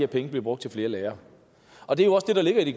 penge bliver brugt til flere lærere og det er jo også det der ligger i